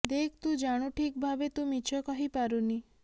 ଦେଖ୍ ତୁ ଜାଣୁ ଠିକ୍ ଭାବେ ତୁ ମିଛ କହିପାରୁନି